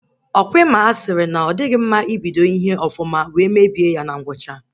Ọkwa Ị ma a sịrị na ọ dịghị mma ibodi ihe ọfụma wee mebie ya na ngwụcha?